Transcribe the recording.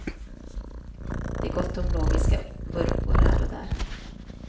Det är gott om logiska vurpor här och där.